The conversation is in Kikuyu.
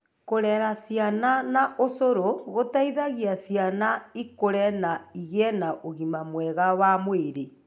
Kũrera ciana na ũcũrũ gũteithagia ciana ikũre na igĩe na ũgima mwega wa mwĩrĩ.